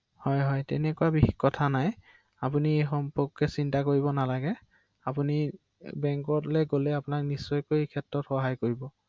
অ হয় হয়